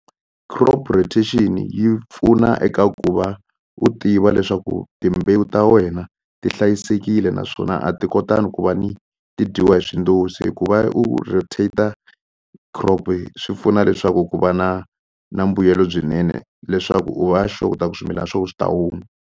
Crop rotation yi pfuna eka ku va u tiva leswaku timbewu ta wena ti hlayisekile naswona a ti kotangi ku va ni ti dyiwa hi swindozi hi ku va u rotator crop swi pfuna leswaku ku va na na mbuyelo byinene leswaku u va sure ku ta ku swimilana swa we swi ta huma.